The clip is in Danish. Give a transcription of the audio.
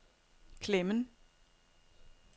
Klemmen